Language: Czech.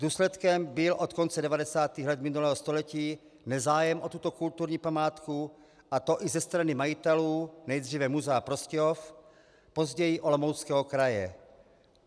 Důsledkem byl od konce 90. let minulého století nezájem o tuto kulturní památku, a to i ze strany majitelů, nejdříve muzea Prostějov, později Olomouckého kraje.